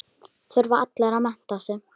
Þurfa allir að mennta sig?